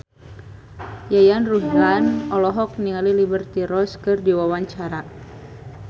Yayan Ruhlan olohok ningali Liberty Ross keur diwawancara